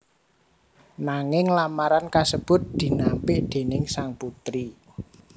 Nanging lamaran kasebut dinampik déning sang putri